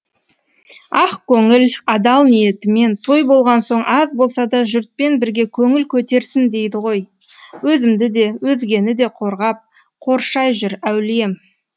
ақ көңіл адал ниетімен той болған соң аз болса да жұртпен бірге көңіл көтерсін дейді ғой өзімді де өзгені де қорғап қоршай жүр әулием